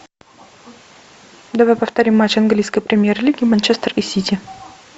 давай повторим матч английской премьер лиги манчестер и сити